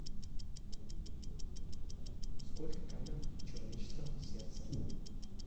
сколько камер в человеческом сердце